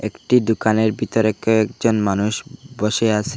একটি দোকানের ভিতরে কয়েকজন মানুষ বসে আছে।